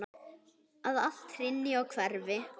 Að allt hrynji og hverfi.